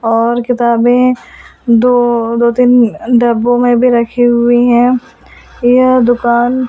और किताबें दो दो-तीन डब्बों में भी रखी हुई हैं यह दुकान--